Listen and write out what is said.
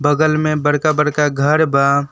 बगल में बड़का बड़का घर बा।